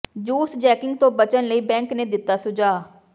juice jacking ਤੋਂ ਬਚਣ ਲਈ ਬੈਂਕ ਨੇ ਦਿੱਤਾ ਸੁਝਾਅ